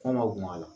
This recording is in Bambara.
Kɔn ma bɔn a la